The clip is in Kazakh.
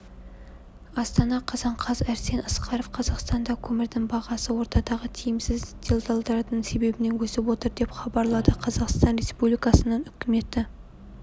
астана қазан қаз арсен асқаров қазақстанда көмірдің бағасы ортадағы тиімсіз делдалдардың себебінен өсіп отыр деп хабарлады қазақстан республикасының үкіметі